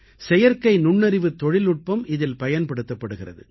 செயற்கை நுண்ணறிவுத் தொழில்நுட்பம் இதில் பயன்படுத்தப்படுகிறது